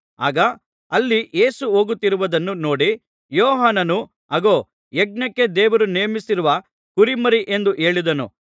ಆಗ ಅಲ್ಲಿ ಯೇಸು ಹೋಗುತ್ತಿರುವುದನ್ನು ನೋಡಿ ಯೋಹಾನನೂ ಅಗೋ ಯಜ್ಞಕ್ಕೆ ದೇವರು ನೇಮಿಸಿರುವ ಕುರಿಮರಿ ಎಂದು ಹೇಳಿದನು